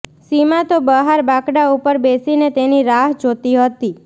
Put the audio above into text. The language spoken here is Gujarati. સીમા તો બહાર બાકડા ઉપર બેસીને તેની રાહ જોતી હતી